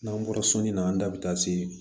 N'an bɔra sɔni na an da bɛ taa se